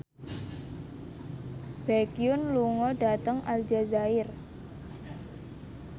Baekhyun lunga dhateng Aljazair